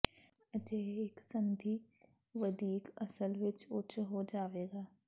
ਅਜਿਹੇ ਇੱਕ ਸੰਧੀ ਵਧੀਕ ਅਸਲ ਵਿੱਚ ਉੱਚ ਹੋ ਜਾਵੇਗਾ